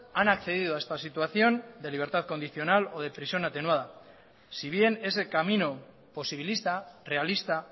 han accedido a esta situación de libertad condicional o de prisión atenuada si bien ese camino posibilista realista